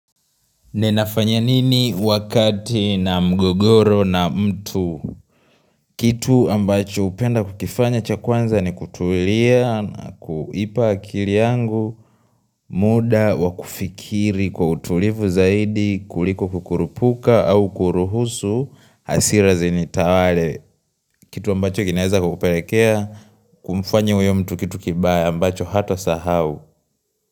Ninafanya nini wakati nina mgogoro na mtu? Kitu ambacho hupenda kukifanya cha kwanza ni kutulia, na kuipa akili yangu, muda, wakufikiri kwa utulivu zaidi, kuliko kukurupuka au kuruhusu, hasira zini tawale. Kitu ambacho kinaeza kukupelekea, kumfanya huyo mtu kitu kibaya ambacho hata sahau.